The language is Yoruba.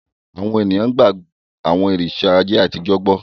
Àwọn ènìyàn gba àwọn òrìṣà ayé àtijọ́ gbọ́.